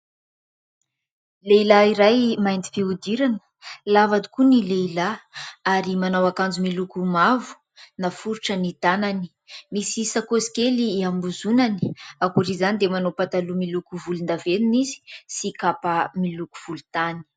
Lehilahy iray mainty fihodirana, lava tokoa ny lehilahy ary manao akanjo miloko mavo naforitra ny tanany. Misy sakosy kely hiambozonany ankoatra izany dia manao pataloha miloko volondavenina izy sy kapa miloko volotany.